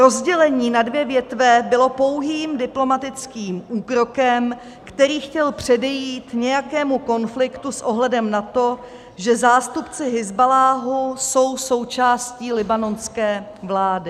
Rozdělení na dvě větve bylo pouhým diplomatickým úkrokem, který chtěl předejít nějakému konfliktu s ohledem na to, že zástupci Hizballáhu jsou součástí libanonské vlády.